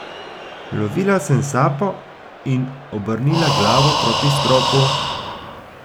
Lovila sem sapo in obrnila glavo proti stropu.